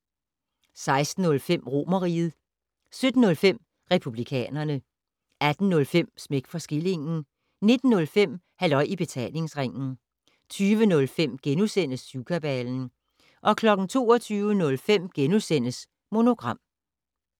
16:05: Romerriget 17:05: Republikanerne 18:05: Smæk for skillingen 19:05: Halløj i Betalingsringen 20:05: Syvkabalen * 22:05: Monogram *